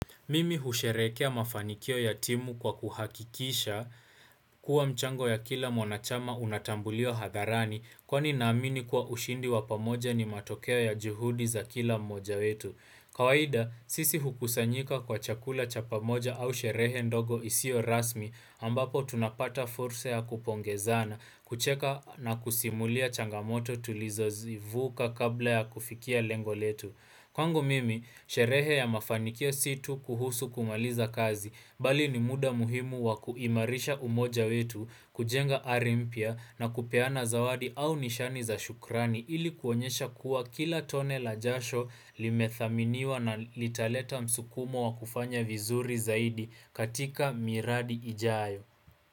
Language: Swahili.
Mimi husherehekea mafanikio ya timu kwa kuhakikisha kuwa mchango ya kila mwanachama unatambulio hadharani kwani naamini kuwa ushindi wa pamoja ni matokeo ya juhudi za kila mmoja wetu. Kawaida, sisi hukusanyika kwa chakula cha pamoja au sherehe ndogo isio rasmi ambapo tunapata fursa ya kupongezana, kucheka na kusimulia changamoto tulizozivuka kabla ya kufikia lengo letu. Kwangu mimi, sherehe ya mafanikio si tu kuhusu kumaliza kazi, bali ni muda muhimu wa kuimarisha umoja wetu, kujenga ari mpya na kupeana zawadi au nishani za shukrani ili kuonyesha kuwa kila tone la jasho limethaminiwa na litaleta msukumo wa kufanya vizuri zaidi katika miradi ijayo.